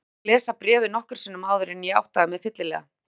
Ég þurfti að lesa bréfið nokkrum sinnum áður en ég áttaði mig fyllilega.